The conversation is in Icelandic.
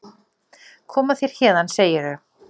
Koma þér héðan, segirðu?